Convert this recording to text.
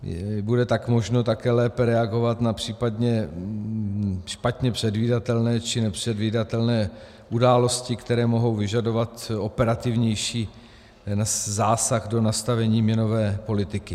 Bude tak možno také lépe reagovat na případně špatně předvídatelné či nepředvídatelné události, které mohou vyžadovat operativnější zásah do nastavení měnové politiky.